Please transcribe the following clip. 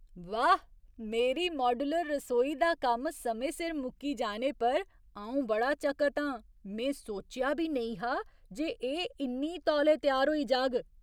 वाह्! मेरी माड्यूलर रसोई दा कम्म समें सिर मुक्की जाने पर अऊं बड़ा चकत आं। में सोचेआ बी नेईं हा जे एह् इन्ने तौले त्यार होई जाग ।